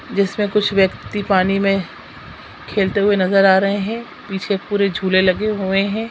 जिसमें कुछ व्यक्ति पानी में खेलते हुए नजर आ रहे हैं पीछे पूरे झूले लगे हुए हैं।